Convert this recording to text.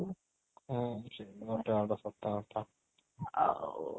ହୁଁ ସେ ଗୋଟେ ଆଡୁ ସତ କଥା ଆଉ